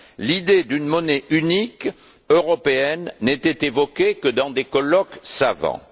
L'idée d'une monnaie unique européenne n'était évoquée que dans des colloques savants.